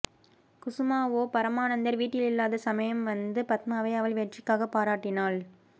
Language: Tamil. குசுமாவோ பரமானந்தர் வீட்டிலில்லாத சமயம் வந்து பத்மாவை அவள் வெற்றிக்காகப் பாராட்டினாள்